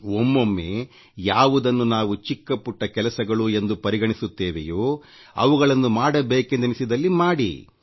ಒಮ್ಮೊಮ್ಮೆ ಯಾವುದನ್ನು ನಾವು ಚಿಕ್ಕ ಪುಟ್ಟ ಕೆಲಸಗಳು ಎಂದು ಪರಿಗಣಿಸುತ್ತೇವೆಯೋ ಅವುಗಳನ್ನು ಮಾಡಬೇಕೆಂದೆನಿಸಿದಲ್ಲಿ ಮಾಡಿ